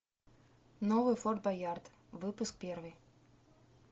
новый форт боярд выпуск первый